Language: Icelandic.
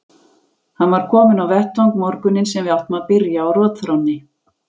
Hann var kominn á vettvang morguninn sem við áttum að byrja á rotþrónni.